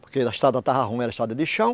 Porque a estrada estava ruim, era estrada de chão.